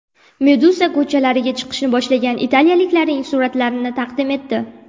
Meduza ko‘chalarga chiqishni boshlagan italiyaliklarning suratlarini taqdim etdi .